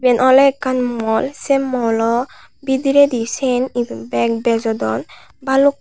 iben oley ekkan mall se mall o bidiride sin ibet beg bejodon baluk.